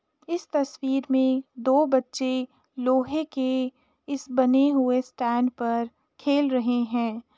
इस तस्वीर में दो बच्चे लोहे की इस बने हुए स्टैंड पर खेल रहे हैं।